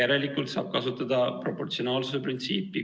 Järelikult tuleb kasutada proportsionaalsuse printsiipi.